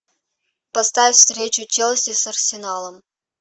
поставь встречу челси с арсеналом